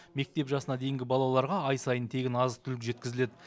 мектеп жасына дейінгі балаларға ай сайын тегін азық түлік жеткізіледі